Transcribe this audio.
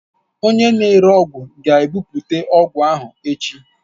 Onye na-ere ọgwụ ga-ebute ọgwụ ahụ echi